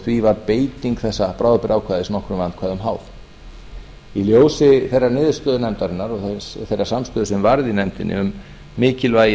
því var beiting þessa bráðabirgðaákvæðis nokkrum vandkvæðum háð í ljósi þeirrar niðurstöðu nefndarinnar og þeirrar samstöðu sem varð í nefndinni um mikilvægi